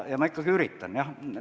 Ma ikkagi üritan, jah.